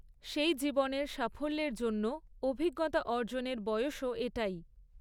সেই জীবনের সাফল্যের জন্য অভিজ্ঞতা অর্জনের বয়সও এটাই।